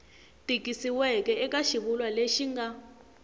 tikisiweke eka xivulwa lexi nga